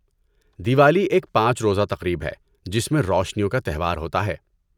دیوالی ایک پانچ روزہ تقریب ہے جس میں روشنیوں کا تہوار ہوتا ہے۔